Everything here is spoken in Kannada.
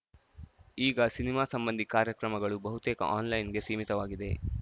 ಈಗ ಸಿನಿಮಾ ಸಂಬಂಧಿ ಕಾರ್ಯಕ್ರಮಗಳೂ ಬಹುತೇಕ ಆನ್‌ಲೈನ್‌ಗೆ ಸಿಮೀತವಾಗಿವೆ